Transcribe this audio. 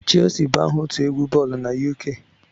Shelsi bụ aha otu egwu boolu na UK